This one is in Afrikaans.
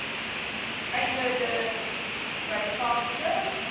einde de byvangste